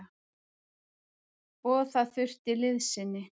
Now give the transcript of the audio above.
Og það þurfti liðsinni.